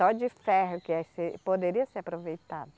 Só de ferro que é se, poderia ser aproveitado.